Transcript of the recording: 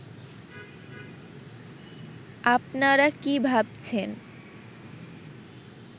আপনারা কী ভাবছেন